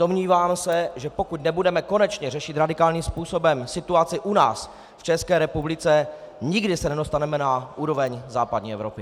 Domnívám se, že pokud nebudeme konečně řešit radikálním způsobem situaci u nás, v České republice, nikdy se nedostaneme na úroveň západní Evropy.